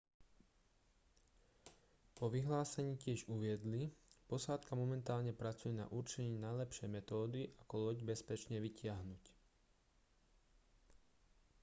vo vyhlásení tiež uviedli posádka momentálne pracuje na určení najlepšej metódy ako loď bezpečne vytiahnuť